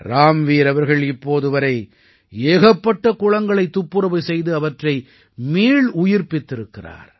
ராம்வீர் அவர்கள் இப்போது வரை ஏகப்பட்ட குளங்களைத் துப்புரவு செய்து அவற்றை மீளுயிர்ப்பித்திருக்கிறார்